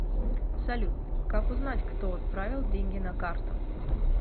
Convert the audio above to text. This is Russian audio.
салют как узнать кто отправил деньги на карту